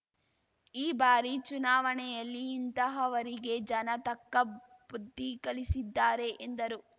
ಈ ಬಾರಿ ಚುನಾವಣೆಯಲ್ಲಿ ಇಂತಹವರಿಗೆ ಜನ ತಕ್ಕ ಬುದ್ಧಿ ಕಲಿಸಿದ್ದಾರೆ ಎಂದರು